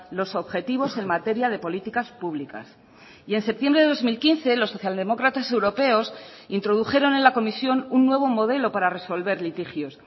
los objetivos en materia de políticas públicas y en septiembre de dos mil quince los socialdemócratas europeos introdujeron en la comisión un nuevo modelo para resolver litigios